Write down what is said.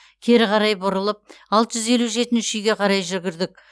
кері қарай бұрылып алты жүз елу жетінші үйге қарай жүгірдік